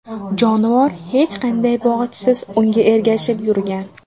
Jonivor hech qanday bog‘ichsiz unga ergashib yurgan.